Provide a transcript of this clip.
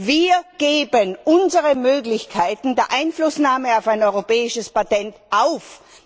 Wir geben unsere Möglichkeiten der Einflussnahme auf ein europäisches Patent auf.